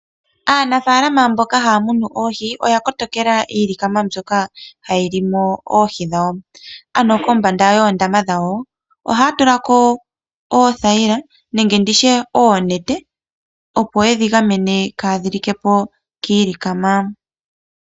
Aanafaalama mboka haya munu oohi oya kotokela iilikama mbyoka hayi li mo oohi dhawo. Kombanda yoondama dhawo ohaya tula ko oothayila nenge oonete, opo ye dhi gamene kaadhi like po kiilikama.